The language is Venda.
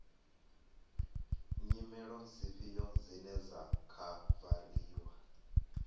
nyimele dzifhio dzine dza khavariwa